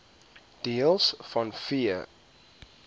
deels vanweë